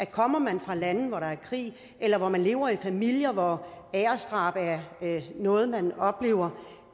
kommer man fra lande hvor der er krig eller hvor man lever i familier hvor æresdrab er noget man oplever